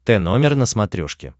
тномер на смотрешке